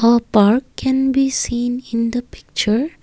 a park can be seen in the picture.